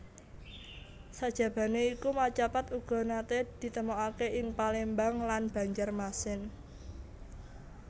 Sajabané iku macapat uga naté ditemokaké ing Palembang lan Banjarmasin